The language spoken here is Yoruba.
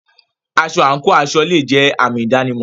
Aṣọ/àǹkò aṣọ le è jẹ́ àmì ìdánimọ̀.